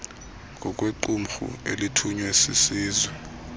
ngokwequmrhu elithunywe sisizwe